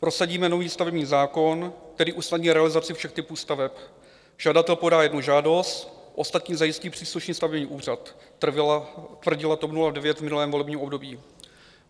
Prosadíme nový stavební zákon, který usnadní realizaci všech typů staveb, žadatel podá jednu žádost, ostatní zajistí příslušný stavební úřad, tvrdila TOP 09 v minulém volebním období.